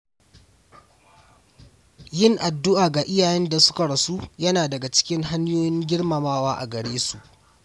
Yin addu’a ga iyayen da suka rasu yana daga cikin hanyoyin girmamawa a gare su.